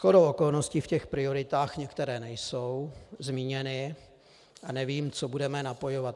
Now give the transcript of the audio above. Shodou okolností v těch prioritách některé nejsou zmíněny a nevím, co budeme napojovat.